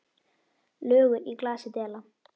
Lögur í glasi dela.